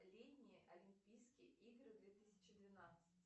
летние олимпийские игры две тысячи двенадцать